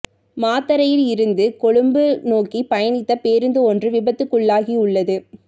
மாத்தறையில் இருந்து கொழும்பு நோக்கி பயணித்த பேருந்து ஒன்று விபத்துக்குள்ளாகியுள்ளது